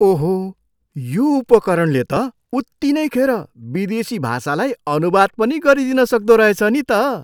ओहो! यो उपकरणले त उत्तिनै खेर विदेशी भाषालाई अनुवाद पनि गरिदिन सक्दो रहेछ नि त।